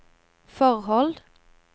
forhold